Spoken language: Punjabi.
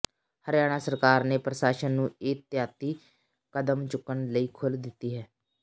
ਹਰਿਆਣਾ ਸਰਕਾਰ ਨੇ ਪ੍ਰਸ਼ਾਸਨ ਨੂੰ ਇਹਤਿਆਤੀ ਕਦਮ ਚੁੱਕਣ ਲਈ ਖੁੱਲ੍ਹ ਦਿੱਤੀ ਹੈ